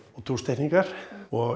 og og